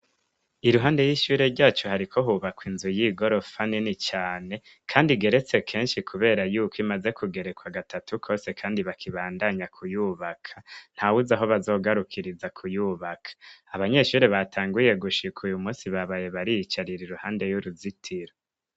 Iruhande y'ishure ryacu hariko hubakwa inzu yigorofa Nini cane Kandi igeretse Kenshi Yuko imaze kugerekwa gatatu kose bakibandanya kuyubaka. ntawuzi aho bazogarukiriza kuyubaka abanyeshure batanguye gushika uyumunsi babaye bariyicarira iruhande yuruzitiro.